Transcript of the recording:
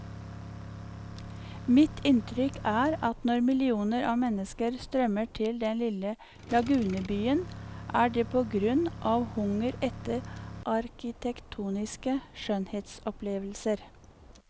Mitt inntrykk er at når millioner av mennesker strømmer til den lille lagunebyen, er det på grunn av hunger etter arkitektoniske skjønnhetsopplevelser.